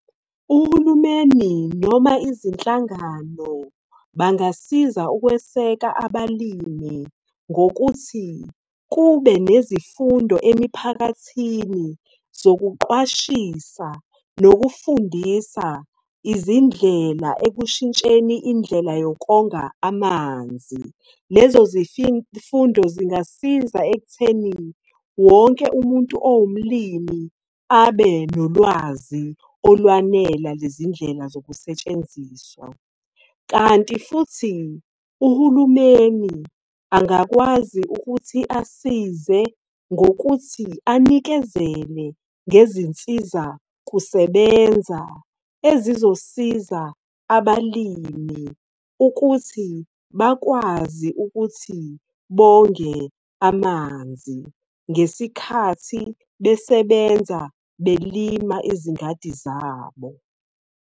Uhulumeni noma izinhlangano bangasiza ukweseka abalimi. Ngokuthi kube nezifundo emiphakathini zokuqwashisa nokufundisa izindlela ekushintsheni indlela yokonga amanzi. Lezo zifundo zingasiza ekuthenini wonke umuntu owumlimi abe nolwazi olwanela lezindlela zokusetshenziswa. Kanti futhi uhulumeni angakwazi ukuthi asize, ngokuthi anikezele ngezinsiza kusebenza. Ezizosiza abalimi ukuthi bakwazi ukuthi bonge amanzi ngesikhathi besebenza belima izingadi zabo.